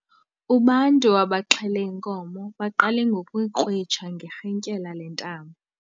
Ubantu abaxhele inkomo baqale ngokuyikrwitsha ngerhintyela lentambo.